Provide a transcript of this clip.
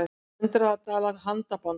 Hundrað dala handaband